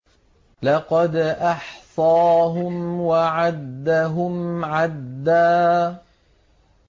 لَّقَدْ أَحْصَاهُمْ وَعَدَّهُمْ عَدًّا